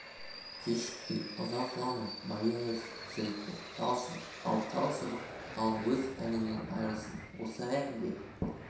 кешікпей ұзақламай байың өлсін жігіттер тал шыбық ал тал шыбық ал өз әніңнен айрылсаң осы әнге